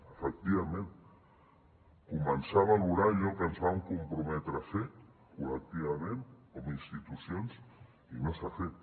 efectivament començar a valorar allò que ens vam comprometre a fer col·lectivament com a institucions i no s’ha fet